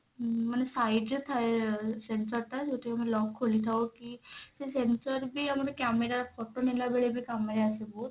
ଉଁ ମାନେ side ରେ ଥାଏ sensor ଟା ଯଉଥିରେ କି ଆମେ lock ଖୋଲିଥାଉ କି ସେ sensor ବି ଆମର camera photo ନେଲା ବେଳେ ବି କାମ ରେ ଆସେ ବହୁତ